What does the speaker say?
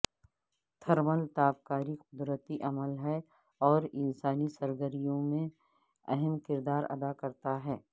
thermal تابکاری قدرتی عمل ہے اور انسانی سرگرمیوں میں اہم کردار ادا کرتا ہے